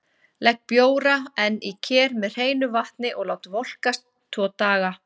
Legg bjóra enn í ker með hreinu vatni og lát volkast tvo daga.